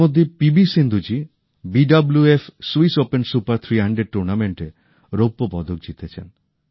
এর মধ্যেই P V Sindhu ji BWF Swiss Open Super ৩০০ টুর্নামেন্টে রৌপ্য পদক জিতেছেন